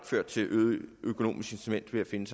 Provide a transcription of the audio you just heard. ført til øget økonomisk incitament til at finde